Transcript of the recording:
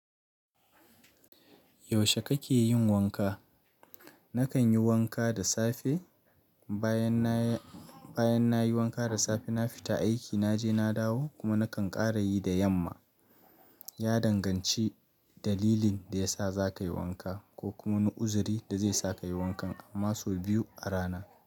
Yaushe kake yin wanka? Nakan yi wanka da safe. Bayan nayi wanka da safe, na fita aiki, naje na dawo kuma nakan ƙara yi da yamma. Ya danganci dalilin da ya sa za ka yi wanka ko kuma wani uzuri da zai sa ka yi wanka amma sau biyu a rana.